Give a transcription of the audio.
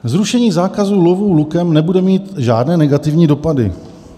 "Zrušení zákazu lovu lukem nebude mít žádné negativní dopady."